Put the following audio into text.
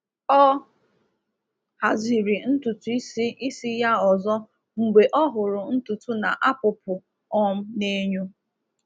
Ọ haziri ntutu isi isi ya ọzọ mgbe ọ hụrụ ntutu na-apụpụ um n’enyo.